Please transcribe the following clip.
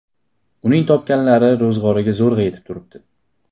Uning topganlari ro‘zg‘orga zo‘rg‘a yetib turibdi.